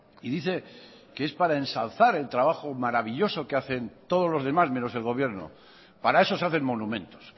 y dice que es para ensalzar el trabajo maravilloso que hacen todos los demás menos el gobierno para eso se hacen monumentos